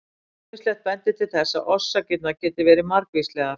Ýmislegt bendir til þess að orsakirnar geti verið margvíslegar.